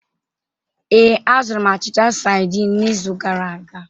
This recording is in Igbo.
Ee, azụrụ m achịcha saidin n'izu gara aga.